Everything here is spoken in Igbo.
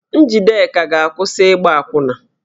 Njideka ga-akwụsị ịgba akwụna